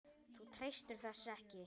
Þú treystir þessu ekki?